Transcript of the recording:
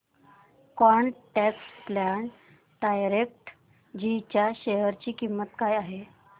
quant tax plan direct G च्या share ची किंमत काय आहे